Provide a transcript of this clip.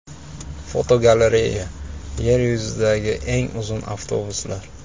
Fotogalereya: Yer yuzidagi eng uzun avtobuslar.